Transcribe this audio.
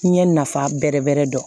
N ɲɛ nafa bɛrɛ bɛrɛ dɔn